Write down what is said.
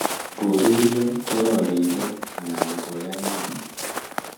koririo, kororiso anan koyangei''.